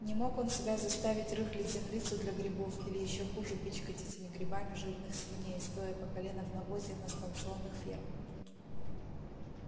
не мог он себя заставить рыхлить землицу для грибов или ещё хуже пичкать этими грибами жирных свиней стоя по колено в навозе на станционных фермах